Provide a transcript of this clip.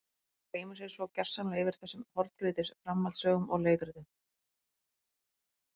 Fólk gleymir sér svo gersamlega yfir þessum horngrýtis framhaldssögum og leikritum.